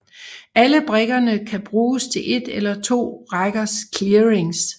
Alle brikkerne kan bruges til 1 eller 2 rækkers clearings